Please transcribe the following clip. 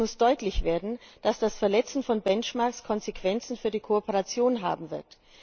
Es muss deutlich werden, dass das Verletzen von Benchmarks Konsequenzen für die Kooperation haben wird.